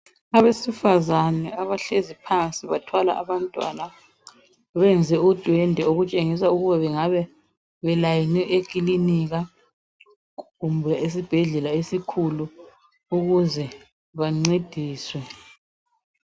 Abesifazana abahlezi phansi bathwala abantwana benze udwendwe okutshengisa ukuthi bengabe belayine ekilinika kumbe esibhedlela esikhulu ukuze bancediswe.